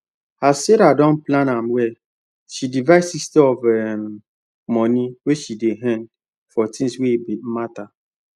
as sarah don plan m well she divide 60 of um money wey she dey earn for things wey matter